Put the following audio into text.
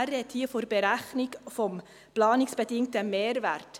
Er spricht von der Berechnung des planungsbedingten Mehrwerts.